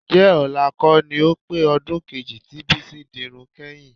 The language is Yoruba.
Ǹjẹ́ ọ̀la kọ́ ni ó pé ọdún kejì tí Bísí dirun kányìn?